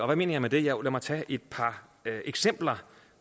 hvad mener jeg med det jo lad mig tage et par eksempler